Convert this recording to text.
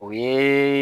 O ye